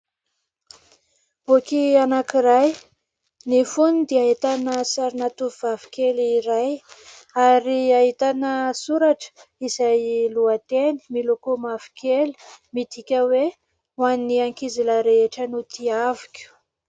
Boky anankiray ny fony dia ahitana sarina tovavokely iray, ary ahitana soratra izay lohateny miloko mavokely midiaka hoe ho an'ny ankizilahy rehetra izay notiaviko.